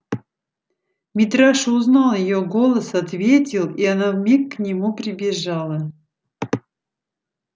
митраша узнал её голос ответил и она вмиг к нему прибежала